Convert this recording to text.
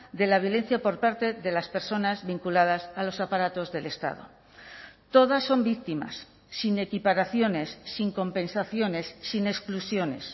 de la violencia por parte de las personas vinculadas a los aparatos del estado todas son víctimas sin equiparaciones sin compensaciones sin exclusiones